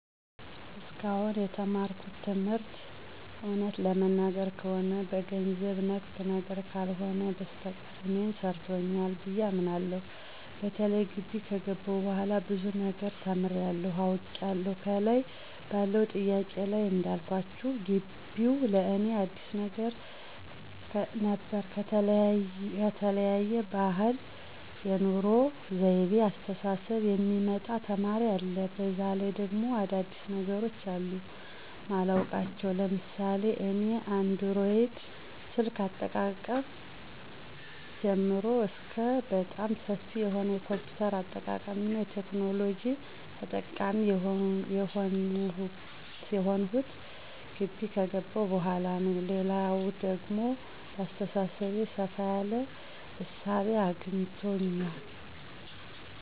እስካሁን የተማርኩት ትምህርት እውነት ለመናገር ከሆነ በገንዘብ ነክ ነገር ካልሆነ በስተቀር እኔን ሰርቶኛል ብየ አምናለሁ። በተለይ ጊቢ ከገባሁ በኋላ ብዙ ነገር ተምሬያለሁ፤ አውቄያለሁ። ከላይ ባለው ጥያቄ ላይ እንዳልኳችሁ ጊቢው ለእኔ አዲስ ነበር ከተለያየ ባህል፣ የኑሮ ወይቤ፣ አስተሳሰብ የሚመጣ ተማሪ አለ፤ በዛ ላይ ደግሞ አዳዲስ ነገሮች አሉ ማላውቃቸው ለምሳሌ እኔ አንድሮይድ ስልክ አጠቃቀም ጀምሮ እስከ በጣም ሰፊ የሆነ የ ኮምፒውተር አጠቃቀምና ቴክኖሎጂ ተጠቃሚ የሆንሁት ጊቢ ከገባሁ በኋላ ነው። ሌላው ደግሞ በአሰተሳሰቤ ሰፋ ያለ እሳቤ አስገኝቶኛል።